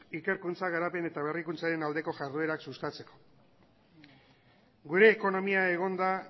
ikerkuntza garapen eta berrikuntzaren aldeko jarduerak sustatzeko gure ekonomia egon da